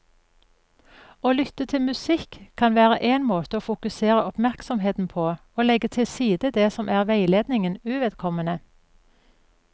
Å lytte til musikk kan være en måte å fokusere oppmerksomheten på og legge til side det som er veiledningen uvedkommende.